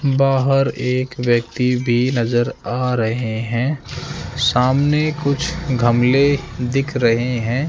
बाहर एक व्यक्ति भी नज़र आ रहे है सामने कुछ गमले दिख रहे है।